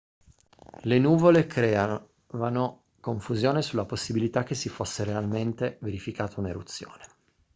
le nuvole creavano confusione sulla possibilità che si fosse realmente verificata un'eruzione